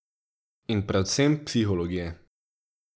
In predvsem psihologije.